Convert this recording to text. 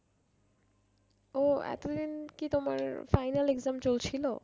ও এতদিন কি তোমার final exam চলছিল?